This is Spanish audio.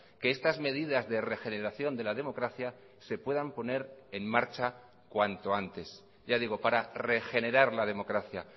que estas medidas de regeneración de la democracia se puedan poner en marcha cuanto antes ya digo para regenerar la democracia